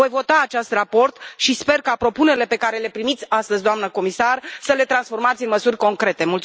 Voi vota acest raport și sper ca propunerile pe care le primiți astăzi, doamnă comisar, să le în transformați în măsuri concrete.